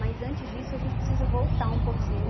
Mas antes disso, a gente precisa voltar um